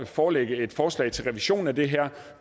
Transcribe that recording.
forelægge et forslag til en revision af det her